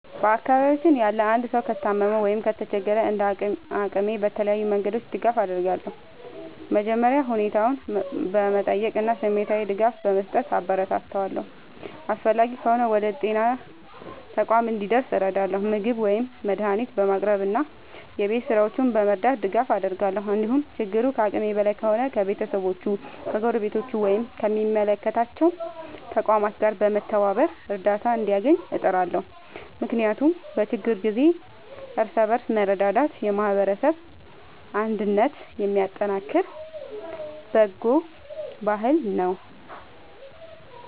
በአካባቢያችን ያለ አንድ ሰው ከታመመ ወይም ከተቸገረ፣ እንደ አቅሜ በተለያዩ መንገዶች ድጋፍ አደርጋለሁ። መጀመሪያ ሁኔታውን በመጠየቅ እና ስሜታዊ ድጋፍ በመስጠት አበረታታዋለሁ። አስፈላጊ ከሆነ ወደ ጤና ተቋም እንዲደርስ እረዳለሁ፣ ምግብ ወይም መድኃኒት በማቅረብ እና የቤት ሥራዎቹን በመርዳት ድጋፍ አደርጋለሁ። እንዲሁም ችግሩ ከአቅሜ በላይ ከሆነ ከቤተሰቦቹ፣ ከጎረቤቶች ወይም ከሚመለከታቸው ተቋማት ጋር በመተባበር እርዳታ እንዲያገኝ እጥራለሁ። ምክንያቱም በችግር ጊዜ እርስ በርስ መረዳዳት የማህበረሰብ አንድነትን የሚያጠናክር በጎ ባህል ነው።